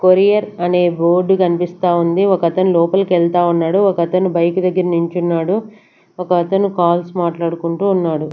Courier అనే board కనిపిస్తా ఉంది ఒకతను లోపలికి వెళ్తా ఉన్నాడు ఒకతను బైక్ దగ్గర నించున్నాడు ఒకతను కాల్స్ మాట్లాడుకుంటూ ఉన్నాడు.